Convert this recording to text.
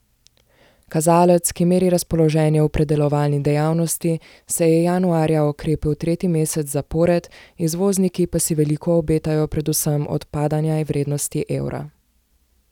Kazalec, ki meri razpoloženje v predelovalni dejavnosti, se je januarja okrepil tretji mesec zapored, izvozniki pa si veliko obetajo predvsem od padanja vrednosti evra.